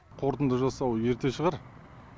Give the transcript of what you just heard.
қорытынды жасау ерте шығар